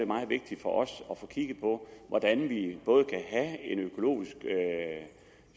meget vigtigt for os at få kigget på hvordan vi både kan have en økologisk